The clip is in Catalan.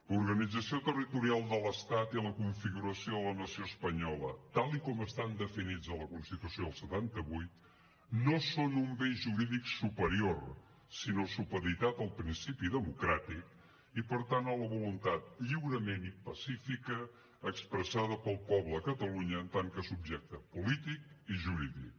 l’organització territorial de l’estat i la configuració de la nació espanyola tal com estan definits a la constitució del setanta vuit no són un bé jurídic superior sinó supeditat al principi democràtic i per tant a la voluntat lliurement i pacífica expressada pel poble de catalunya en tant que subjecte polític i jurídic